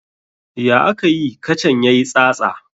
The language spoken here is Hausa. Ya akayi kacan ya yi tsatsa?